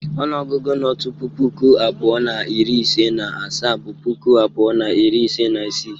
Onuogugu no tupu puku abuo na iri ise na asaa bụ puku abuo na iri ise na isii.